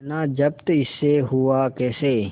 इतना जब्त इससे हुआ कैसे